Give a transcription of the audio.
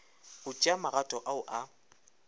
go tšea magato ao a